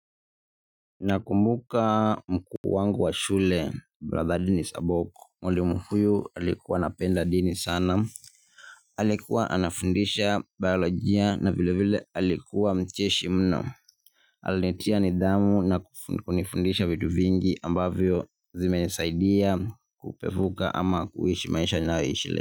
Nakumbuka mkuu wangu wa shule mr boku. Mwalimu huyu alikuwa anapenda dini sana. Alikuwa anafundisha biolojia na vile vile alikuwa mcheshi mno. Alinitia nidhamu na kunifundisha vitu vingi ambavyo zimenisaidia kupevuka ama kuishi maisha ninayoishi leo.